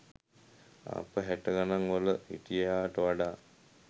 අප හැට ගණන් වල හිටියාට වඩා